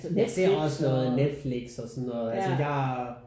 Jeg ser også noget Netflix og sådan noget altså jeg